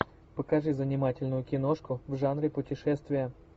покажи занимательную киношку в жанре путешествия